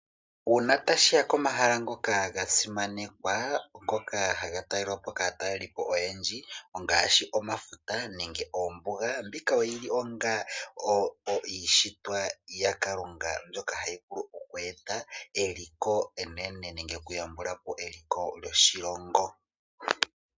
Uuna tashiya komahala ngoka gasimanekwa , ngoka haga talelwapo kaatalelipo oyendji, ongaashi omafuta noombuga. Ohayi vulu okweeta oshimaliwa oshindji nenge okuyambukapo eliko lyoshilongo.